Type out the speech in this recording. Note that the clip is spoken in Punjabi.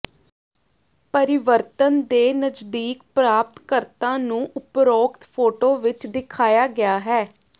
ਪਰਿਵਰਤਨ ਦੇ ਨਜ਼ਦੀਕ ਪ੍ਰਾਪਤ ਕਰਤਾ ਨੂੰ ਉਪਰੋਕਤ ਫੋਟੋ ਵਿੱਚ ਦਿਖਾਇਆ ਗਿਆ ਹੈ